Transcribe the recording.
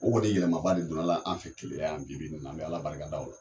O kɔni yɛlɛma ba de donna la an fɛ Keleya yan bi bi in na, an bɛ Ala barikada o la.